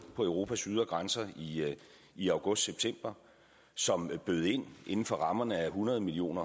på europas ydre grænser i august september som bød ind inden for rammerne af hundrede million